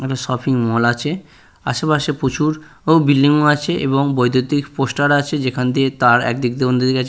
একটা shopping mall আছে আশেপাশে প্রচুর ও বিল্ডিং ও আছে এবং বৈদ্যুতিক পোস্টার আছে যেখান দিয়ে তার একদিক দিয়ে অন্য্ দিকে গেছে।